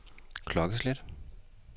klokkeslæt